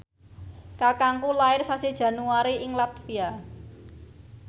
kakangku lair sasi Januari ing latvia